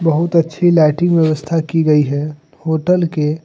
बहुत अच्छी लाइटिंग व्यवस्था की गई है होटल के।